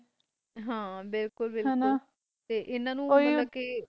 ਹੈ, ਬਿਲਕੁਲ ਬਿਲਕੁਲ